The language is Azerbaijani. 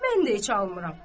mən də heç almıram.